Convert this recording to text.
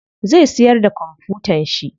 Zai siyar da kwamfutan shi.